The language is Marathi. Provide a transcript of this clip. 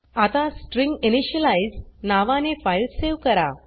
आता स्ट्रिंजिनिशियलाईज नावाने फाइल सेव करा